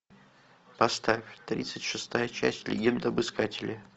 поставь тридцать шестая часть легенда об искателе